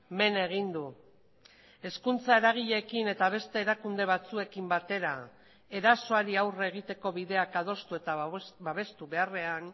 men egin du hezkuntza eragileekin eta beste erakunde batzuekin batera erasoari aurre egiteko bideak adostu eta babestu beharrean